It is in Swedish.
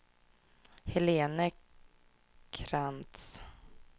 Helene Krantz